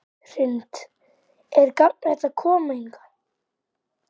Hrund: Er gagnlegt að koma hingað?